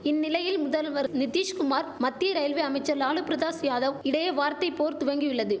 இந்நிலையில் முதல்வர் நிதிஷ்குமார் மத்திய ரயில்வே அமைச்சர் லாலு பிரதாஸ் யாதவ் இடையே வார்த்தை போர் துவங்கியுள்ளது